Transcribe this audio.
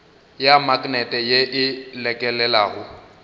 ya maknete ye e lekelelago